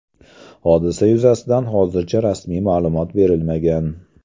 Hodisa yuzasidan hozircha rasmiy ma’lumot berilmagan.